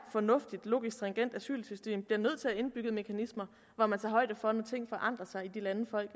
fornuftigt logisk stringent asylsystem bliver nødt til at have indbygget mekanismer hvor man tager højde for at ting kan forandre sig i de lande folk